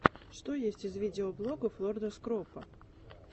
что есть из видеоблогов лорда скропа